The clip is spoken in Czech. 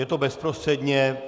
Je to bezprostředně.